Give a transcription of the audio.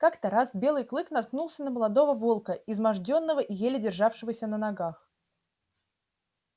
как-то раз белый клык наткнулся на молодого волка измождённого и еле державшегося на ногах